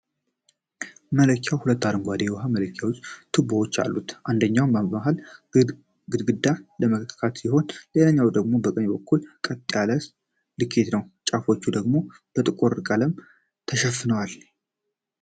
መለኪያው ሁለት አረንጓዴ የውሃ መለኪያ ቱቦዎች አሉት፤ አንደኛው በመሃል አግድም ለመለካት ሲሆን፣ ሌላኛው ደግሞ በቀኝ በኩል ቀጥ ያለ ልኬት ነው። ጫፎቹ ደግሞ በጥቁር ቀለም ተሸፍነዋል።